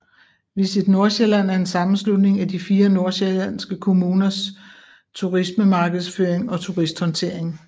VisitNordsjælland er en sammenslutning af de 4 nordsjællandske kommuners turismemarkedsføring og turisthåndtering